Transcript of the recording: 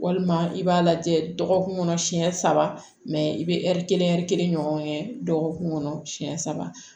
Walima i b'a lajɛ dɔgɔkun kɔnɔ siɲɛ saba i bɛ ɛri kelen ɛri kelen ɲɔgɔn kɛ dɔgɔkun kɔnɔ siyɛn saba